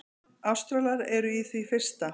Ástralar eru í því fyrsta.